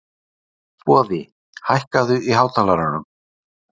Boði, lækkaðu í hátalaranum.